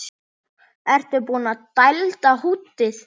Ertu búinn að dælda húddið?